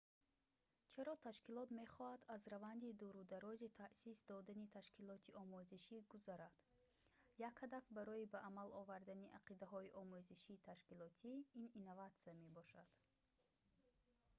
чаро ташкилот мехоҳад аз раванди дурударози таъсис додани ташкилоти омӯзишӣ гузарад як ҳадаф барои ба амал овардани ақидаҳои омӯзиши ташкилотӣ ин инноватсия мебошад